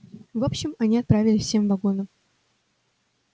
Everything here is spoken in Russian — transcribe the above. в общем они отправились всем вагоном